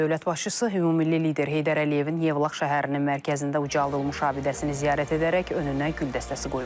Dövlət başçısı ümummilli lider Heydər Əliyevin Yevlax şəhərinin mərkəzində ucaldılmış abidəsini ziyarət edərək önünə gül dəstəsi qoyub.